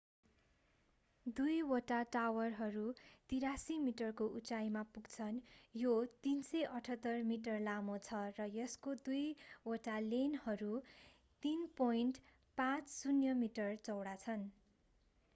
दुई वटा टावरहरू 83 मिटरको उचाइमा पुग्छन् यो 378 मिटर लामो छ र यसको दुई वटा लेनहरू 3.50 मिटर चौडा छन्